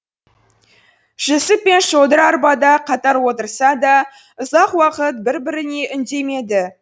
жүсіп пен шодыр арбада қатар отырса да ұзақ уақыт бір біріне үндемеді